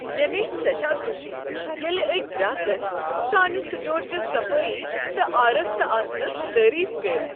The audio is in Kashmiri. مےٚ گٔیہ سیٹھاہ خوشی ییٚلہ أکۍ گراكن سٲنہ سٹورٕچہِ صفٲیی تہٕ آرستہ آسنس تعریف کٔرۍ۔